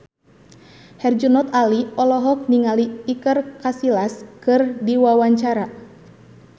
Herjunot Ali olohok ningali Iker Casillas keur diwawancara